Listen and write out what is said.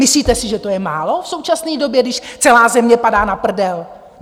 Myslíte si, že to je málo v současné době, když celá země padá na prdel?